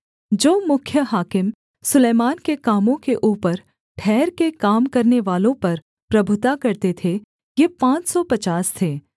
जो मुख्य हाकिम सुलैमान के कामों के ऊपर ठहरके काम करनेवालों पर प्रभुता करते थे ये पाँच सौ पचास थे